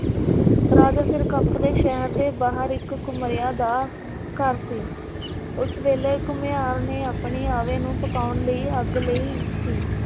ਰਾਜਾ ਸਿਰਕਪ ਦੇ ਸ਼ਹਿਰ ਦੇ ਬਾਹਰ ਇਕ ਘੁਮਿਆਰ ਦਾ ਘਰ ਸੀ । ਉਸ ਵੇਲੇ ਘੁਮਿਆਰ ਨੇ ਆਪਣੇ ਆਵੇ ਨੂੰ ਪਕਾਉਣ ਲਈ ਅੱਗ ਲਈ ਸੀ।